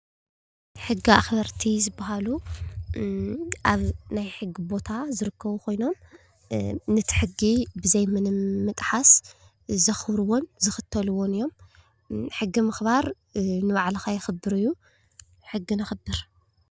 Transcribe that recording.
ሕጊ ኣክበርቲ ዝባሃሉ ኣብ ናይ ሕጊ ቦታ ዝርከቡ ከይኖም ነቲ ሕጊ ብዘይ ምንም ምጥሓስ ዘክብርዎን ዝክተልዎን እዮም። ሕጊ ምክባር ንባዕልካ የክብር እዩ። ሕጊ ነክብር።